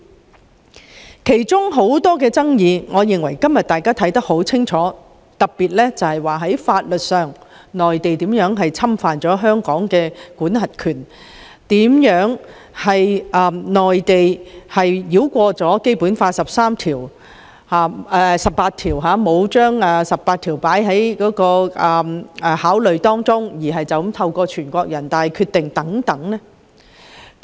我認為當中有很多爭議，今天均已有答案，特別是內地如何在法律上侵犯香港的管轄權，當局如何繞過《基本法》第十八條，不考慮該條文的規定而就此採納全國人大所作決定等問題。